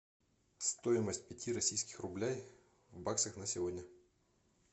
стоимость пяти российских рублей в баксах на сегодня